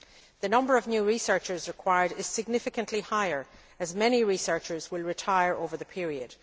The number of new researchers required is significantly higher as many researchers will retire over the period.